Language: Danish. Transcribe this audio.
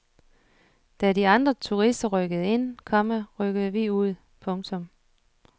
Da de andre turister rykkede ind, komma rykkede vi ud. punktum